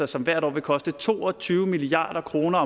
som hvert år vil koste to og tyve milliard kroner